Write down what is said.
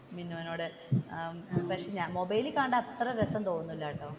മിന്നുനോട് മൊബൈലിൽ കണ്ടാൽ അത്ര രസം തോന്നൂല്ലാട്ടോ.